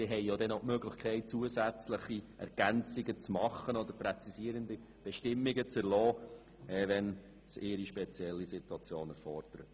Sie haben noch die Möglichkeit, zusätzliche Ergänzungen oder Präzisierungen vorzunehmen, wenn ihre spezielle Situation dies erfordert.